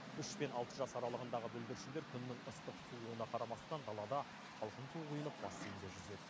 үш пен алты жас аралығындағы бүлдіршіндер күннің ыстық суығына қарамастан далада салқын су құйынып бассейнде жүзед